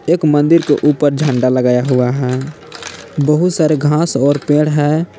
एक मंदिर के उपर झंडा लगाया हुआ है बहुत सारे घास और पेड़ है।